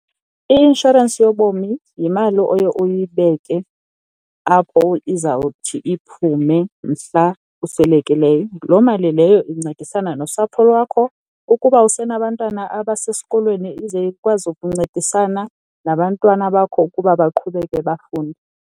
I-inshorensi yobomi yimali oye uyibeke apho izawuthi iphume mhla uswelekileyo, loo mali leyo incedisana nosapho lwakho. Ukuba usenabantwana abasesikolweni ize ikwazi ukuncedisana nabantwana bakho ukuba baqhubeke bafunde.